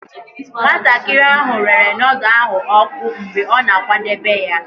Nwatakịrị ahụ rere nudu ahụ oku mgbe ọ na-akwadebe ya.